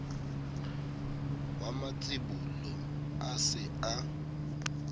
wa matsibolo a se a